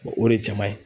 O de ye jama ye